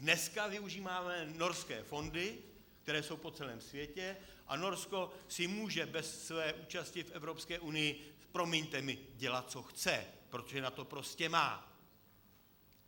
Dneska využíváme Norské fondy, které jsou po celém světě, a Norsko si může bez své účasti v Evropské unii - promiňte mi - dělat, co chce, protože na to prostě má.